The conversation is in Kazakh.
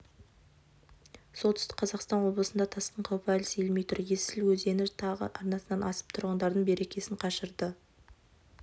солтүстік қазақстан облысында тасқын қаупі әлі сейілмей тұр есіл өзені тағы арнасынан асып тұрғындардың берекесін қашырды